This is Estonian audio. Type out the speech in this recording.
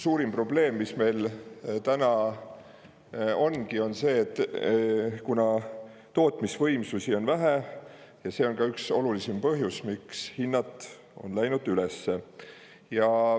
Suurim probleem, mis meil täna on, ongi see, et tootmisvõimsusi on vähe, ja see on ka üks olulisim põhjus, miks hinnad on läinud üles.